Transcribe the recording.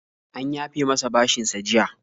An yafe masa bashinsa jiya.